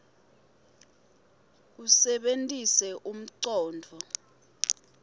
usebenitse umcondvo